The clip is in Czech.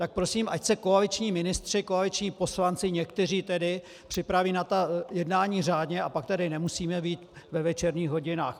Tak prosím, ať se koaliční ministři, koaliční poslanci, někteří tedy, připraví na ta jednání řádně, a pak tady nemusíme být ve večerních hodinách.